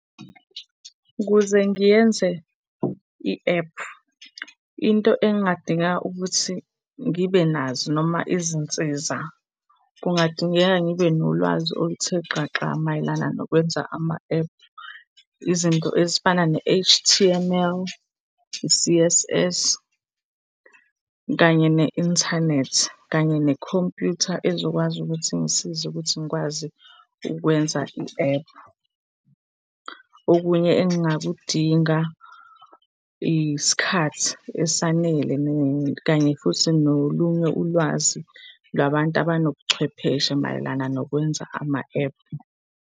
Ukuze ngiyenze i-app, into engingadingeka ukuthi ngibe nazo noma izinsiza, kungadingeka ngibe nolwazi oluthe xaxa mayelana nokwenza ama-app. Izinto ezifana ne-H_T_M_L, i-C_S_S kanye ne-inthanethi, kanye nekhompyutha ezokwazi ukuthi ingisize ukuthi ngikwazi ukwenza i-app. Okunye engingakudinga, isikhathi esanele kanye futhi nolunye ulwazi lwabantu abanobucwephesha mayelana nokwenza ama-app.